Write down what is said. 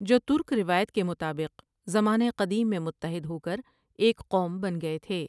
جو ترک روایت کے مطابق زمانہ قدیم میں متٌحد ہو کر ایک قوم بن گئے تھے ۔